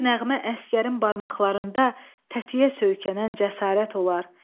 Bir nəğmə əsgərin barmaqlarında tətiyə söykənən cəsarət olar.